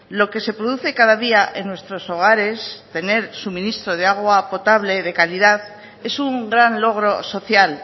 lo que se produce cada día en nuestros hogares tener suministro de agua potable de calidad es un gran logro social